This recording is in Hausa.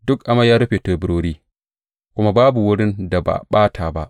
Duk amai ya rufe teburori kuma babu wani wurin da ba a ɓata ba.